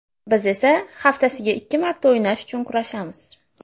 Biz esa haftasiga ikki marta o‘ynash uchun kurashamiz.